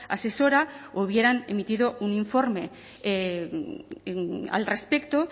asesora hubieran emitido un informe al respecto